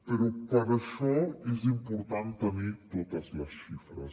però per això és important tenir totes les xifres